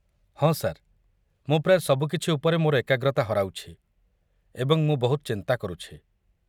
ହଁ ସାର୍, ମୁଁ ପ୍ରାୟ ସବୁକିଛି ଉପରେ ମୋର ଏକାଗ୍ରତା ହରାଉଛି, ଏବଂ ମୁଁ ବହୁତ ଚିନ୍ତା କରୁଛି।